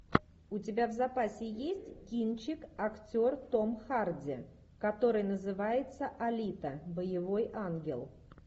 у тебя в запасе есть кинчик актер том харди который называется алита боевой ангел